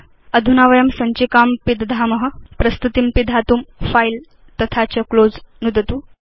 अधुना वयं सञ्चिकां पिदधाम प्रस्तुतिं पिधातुं फिले तथा च क्लोज़ नुदतु